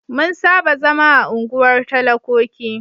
Mun saba zama a unguwar talakoki.